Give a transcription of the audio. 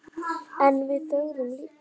En við þögðum líka.